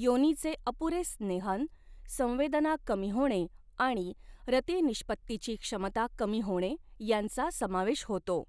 योनीचे अपुरे स्नेहन, संवेदना कमी होणे आणि रति निष्पत्तिची क्षमता कमी होणे यांचा समावेश होतो.